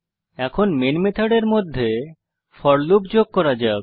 এখন মেন মেথডের মধ্যে ফোর লুপ যোগ করা যাক